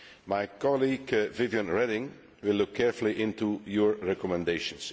My colleague Viviane Reding will look carefully into your recommendations.